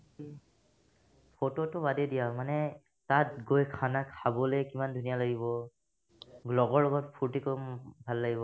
ফটৌতো বাদেই দিয়া মানে তাত গৈ khana খাবলে কিমান ধুনীয়া লাগিব লগৰ লগত ফুৰ্তি কৰিম ভাল লাগিব